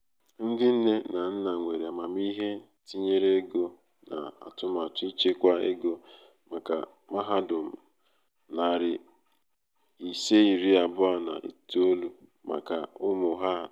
ndi nne na nna nwere amamihe tinyere ego na atụmatụ ịchekwa ego maka mahadum nari ise iri abuo na itoou maka ụmụ ha atọ.